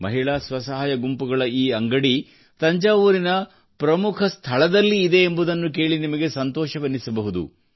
ಮಹಿಳಾ ಸ್ವಸಹಾಯ ಗುಂಪುಗಳ ಈ ಅಂಗಡಿ ತಂಜಾವೂರಿನ ಪ್ರಮುಖ ಸ್ಥಳದಲ್ಲಿ ಇದೆ ಎಂಬುದನ್ನು ಕೇಳಿ ನಿಮಗೆ ಸಂತೋಷವೆನ್ನಿಸಬಹುದು